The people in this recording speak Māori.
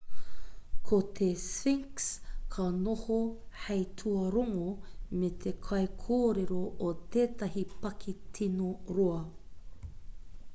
ko te sphnix ka noho hei tuarongo me te kaikōrero o tētahi paki tino roa